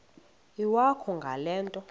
iwakho ngale nto